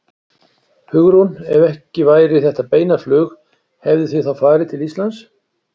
Hugrún: Ef ekki væri þetta beina flug hefðuð þið þá farið til Íslands?